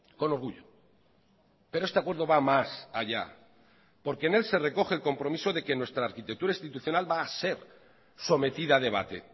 con orgullo pero este acuerdo va más allá porque en él se recoge el compromiso de que nuestra arquitectura institucional va a ser sometida a debate